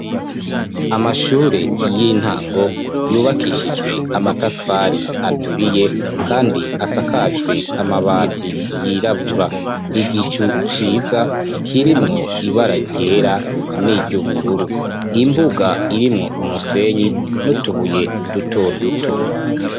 Amashure y'intango yubakishijwe amatafari aturiye, kandi asakajwe amabati yirabura igicu ciza kirimwo ibararyera n'iryo ubururu imbuga irimwo umusenyi nutubuye duto duto.